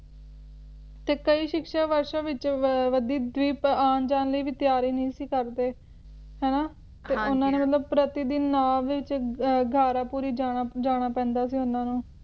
ਤੇ ਕਈ ਸ਼ਿਕਸ਼ਾ ਵਾਸ਼ਾ ਵਿਚ ਦਵੀ`ਦਵੀਪ ਆਉਣ ਜਾਣ ਲਈ ਵੀ ਤਿਆਰੀ ਨਹੀਂ ਸੀ ਕਰਦੇ ਹੈ ਨਾ ਤੇ ਉਨ੍ਹਾਂ ਨੂੰ ਮਤਲਬ ਪ੍ਰਤੀਦਿਨ ਨਾਵ ਦੇ ਵਿਚ ਘਾਰਾਪੂਰੀ ਜਾਣਾ ਪੈਂਦਾ ਸੀ ਉਨ੍ਹਾਂ ਨੂੰ